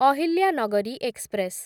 Ahilyanagari express